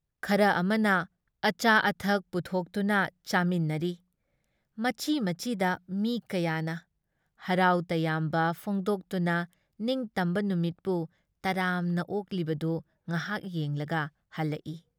ꯈꯔ ꯑꯃꯅ ꯑꯆꯥ ꯑꯊꯛ ꯄꯨꯊꯣꯛꯇꯨꯅ ꯆꯥꯃꯤꯟꯅꯔꯤ ꯃꯆꯤ ꯃꯆꯤꯗ ꯃꯤ ꯀꯌꯥꯅ, ꯍꯔꯥꯎ ꯇꯌꯥꯝꯕ ꯐꯣꯡꯗꯣꯛꯇꯨꯅ ꯅꯤꯡꯇꯝꯕ ꯅꯨꯃꯤꯠꯄꯨ ꯇꯔꯥꯝꯅ ꯑꯣꯛꯂꯤꯕꯗꯨ ꯉꯍꯥꯛ ꯌꯦꯡꯂꯒ ꯍꯜꯂꯛꯏ ꯫